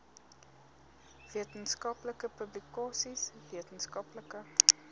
wetenskaplike publikasies wetenskaplike